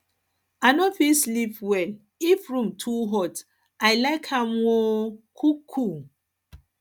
i no fit sleep well if room too hot i like am um cool um cool